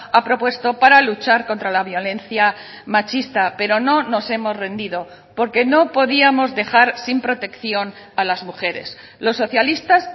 ha propuesto para luchar contra la violencia machista pero no nos hemos rendido porque no podíamos dejar sin protección a las mujeres los socialistas